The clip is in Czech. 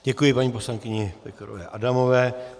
Děkuji paní poslankyni Pekarové Adamové.